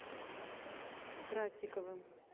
красиковым